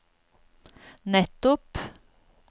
nettopp